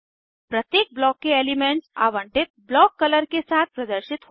प्रत्येक ब्लॉक के एलीमेन्ट्स आवंटित ब्लॉक कलर के साथ प्रदर्शित होते हैं